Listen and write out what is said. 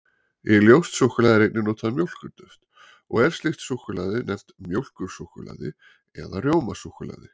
Í ljóst súkkulaði er einnig notað mjólkurduft, og er slíkt súkkulaði nefnt mjólkursúkkulaði eða rjómasúkkulaði.